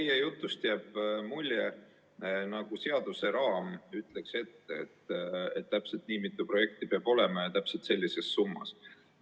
No teie jutust jääb mulje, nagu seaduse raam ütleks ette, et täpselt nii mitu projekti peab olema ja täpselt sellises summas.